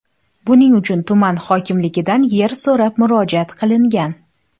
Buning uchun tuman hokimligidan yer so‘rab murojaat qilingan.